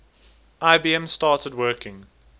ibm started working